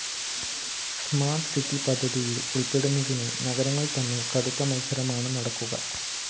smart city പദ്ധതിയില്‍ ഉള്‍പ്പെടുന്നതിന് നഗരങ്ങള്‍ തമ്മില്‍ കടുത്ത മത്സരമാണ് നടക്കുക